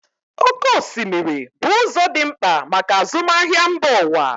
Oké osimiri bụ ụzọ dị mkpa maka azụmahịa mba ụwa.